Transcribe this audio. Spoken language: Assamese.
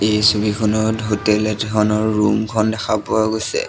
এই ছবিখনত হোটেল এখনৰ ৰুম খন দেখা পোৱা গৈছে।